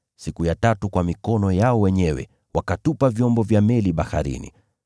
Siku ya tatu, wakatupa vyombo vya meli baharini kwa mikono yao wenyewe.